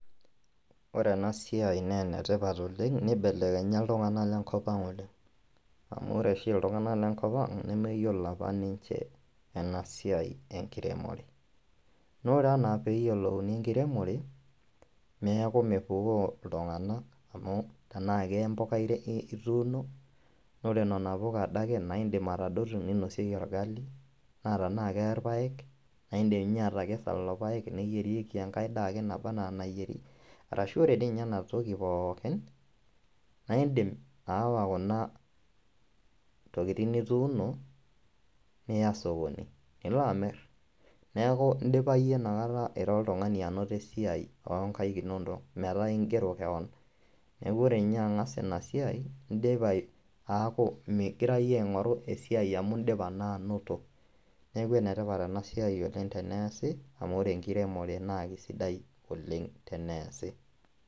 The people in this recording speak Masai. Ore ena siaai naa enetipat oleng neibelekenya ooltung'anak lenkopang oleng amu ore oshi iltung'anak lenkopang nemeyiolo apa ninche ena siai enkiremore naa ore enaa peeyiolouni enkiremore neeku mepukoo iltung'anak amu enaa kembuka ituuno ore nena puka adake naa indim atadotu ninosieki orgali naa tenaa kerpaek naindim atekesa lelo paek neyierieki enkae daa ake nebanaa enayieri ashu ore dii ninye ena toki poookin naa indiim aawa kuna tokitin nituuno niya sokoni lino amir neeku indipa iyie inakata ira oltung'ani anoto esiai onkail inonok metaa ingero kewon neeku ore ninye ang'as ina siai indipa aaku mingira iyieu aing'oru esiai amu indipa naa anoto neeku enetipat ena siai oleng teneesi amu ore enkiremore naa keisidai oleng teneesi.